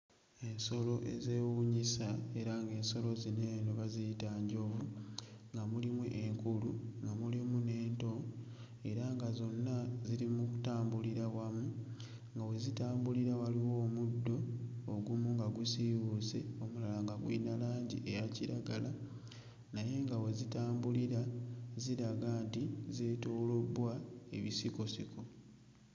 Ensolo ezeewuunyisa era ng'ensolo zino eno baziyita njovu nga mulimu enkulu nga mulimu n'ento era nga zonna ziri mu kutambulira wamu nga we zitambulira waliwo omuddo ogumu nga gusiiwuuse omulala nga guyina langi eya kiragala naye nga we zitambulira ziraga nti zeetoolobbwa ebisikosiko.